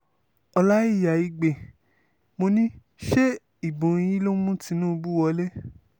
ọlọ́ìyá igbe mò ní ṣe ìbò yín ló mú tinubu wọlé